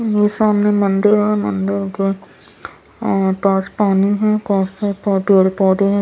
ये सामने मंदिर है मंदिर के अ पास पानी है पास पेड़ पौधे हैं ।